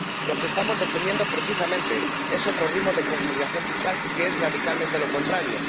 Lo que estamos defendiendo precisamente es otro ritmo de consolidación fiscal que es radicalmente lo contrario.